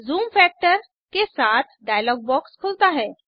zoom factor के साथ dialog box खुलता है